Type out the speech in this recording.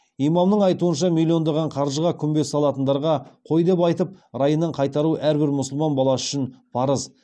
имамның айтуынша миллиондаған қаржыға күмбез салатындарға қой деп айтып райынан қайтару әрбір мұсылман баласы үшін парыз